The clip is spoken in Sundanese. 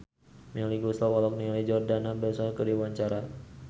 Melly Goeslaw olohok ningali Jordana Brewster keur diwawancara